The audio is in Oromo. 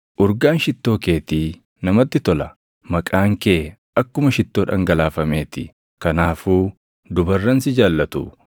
Urgaan shittoo keetii namatti tola; maqaan kee akkuma shittoo dhangalaafamee ti. Kanaafuu dubarran si jaallatu!